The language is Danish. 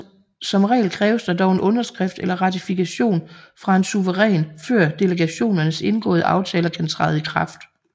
Som regel kræves der dog en underskrift eller ratifikation fra en suveræn før delegationernes indgåede aftaler kan træde i kraft